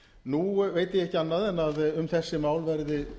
nú veit ég ekki annað en að um þessi mál verði